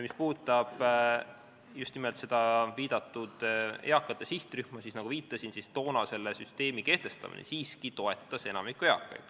Mis puudutab just nimelt eakate sihtrühma, siis, nagu ma viitasin, toona selle süsteemi kehtestamine siiski toetas enamikku eakaid.